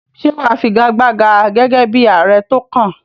Ṣé wà á figagbága gẹ́gẹ́ bí ààrẹ tó kàn?